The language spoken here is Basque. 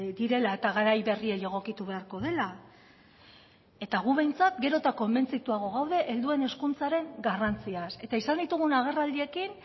direla eta garai berriei egokitu beharko dela eta gu behintzat gero eta konbentzituago gaude helduen hezkuntzaren garrantziaz eta izan ditugun agerraldiekin